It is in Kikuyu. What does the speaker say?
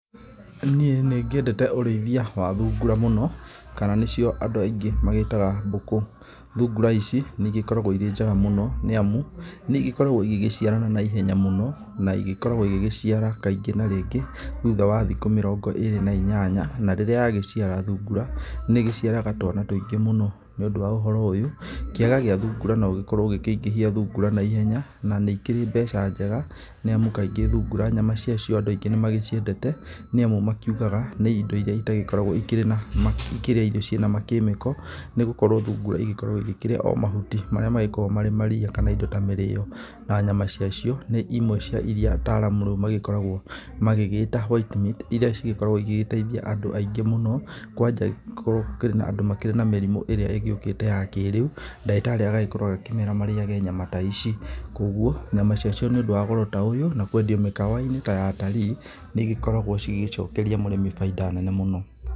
Niĩ nĩngĩendete ũrĩithia wa thungura mũno, kana nĩcio andũ aingĩ magĩtaga mbũkũ. Thungura ici nĩigĩkoragwo irĩ njega mũno nĩamu nĩigĩkoragwo igĩgĩciarana na ihenya mũno na ĩgĩkoragwo igĩgĩciara kaingĩ na rĩngĩ thutha wa thikũ mĩrongo ĩrĩ na inyanya. Na rĩrĩa yagĩciara thungura nĩĩgĩciaraga twana tuingĩ mũno. Nĩ ũndũ wa ũhoro ũyũ, kĩaga gĩa thungura no gĩkorwo gĩkĩingĩhia thungura na ihenya. Na nĩ ĩkĩrĩ mbeca njega, nĩamu kaingĩ thungura nyama ciacio andũ aingĩ nĩmagĩciendete nĩamu makiugaga nĩ indo iria itagĩkoragwo ikĩrĩa irio ciĩ na makĩmĩko, nĩ gũkorwo thungura igĩkoragwo ĩgĩkĩrĩa o mahuti marĩa magĩkoragwo marĩ mariia kana indo ta mĩrĩo. Na nyama ciacio nĩ imwe cia iria ataramu rĩu magĩkoragwo magĩgĩta white meat, iria cigĩkoragwo igĩgĩteithia andũ aingĩ mũno, kwanja kũngĩkorwo gũkurĩ na andũ makĩrĩ na mĩrimũ ĩrĩa ĩgĩũkĩte ya kĩrĩu. Ndagĩtarĩ agagĩkorwo agĩkĩmera marĩage nyama ta ici. Kogwo nyama ciacio nĩundũ wa goro ta ũyũ, na kwendio mĩkawa-inĩ ta ya atarii, nĩigĩkoragwo cigĩcokeria mũrĩmi baida nene mũno.